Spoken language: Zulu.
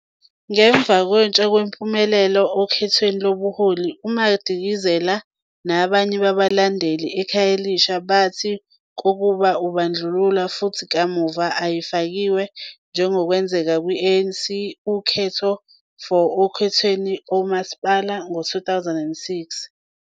Umlando womhlakahlo waziwa ngokuba nokuqombola okuqonda imisebenzi yezitho nezinhlaka zomzimba womuntu.